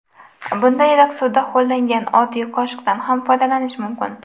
Bunda iliq suvda ho‘llangan oddiy qoshiqdan ham foydalanish mumkin.